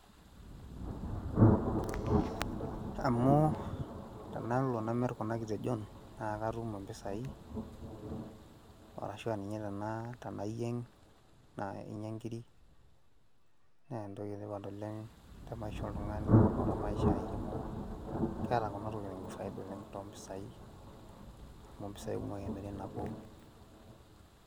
Amu tenalo namir kuna kitejon naake atum impisai arashu aa ninye tena tenayieng' naa inya nkirik naa entoki etipat oleng' te maisha oltung'ani o te maisha ai amu keeta tokitin faida oleng' to mpisai amu mpisai kumok emiri nabo.